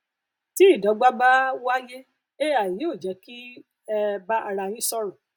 tí ìdọgba bá um wáyé ai yóò jé kí um ẹ bá ara yín sọrọ